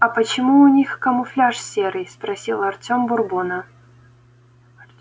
а почему у них камуфляж серый спросил артём бурбона